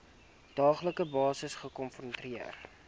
daaglikse basis gekonfronteer